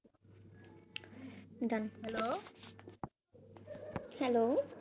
hello, hello